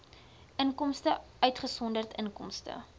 inkomste uitgesonderd inkomste